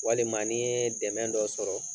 Walima ni ye dɛmɛ dɔ sɔrɔ